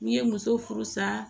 N'i ye muso furu san